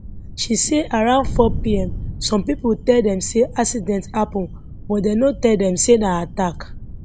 she say around 400pm some pipo tell dem say accident happun but dem no tell dem say na attack